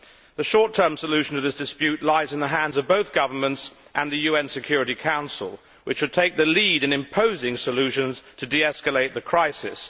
The short term solution to this dispute lies in the hands of both governments and the UN Security Council, which should take the lead in imposing solutions to de escalate the crisis.